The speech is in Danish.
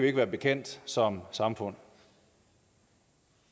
ikke være bekendt som samfund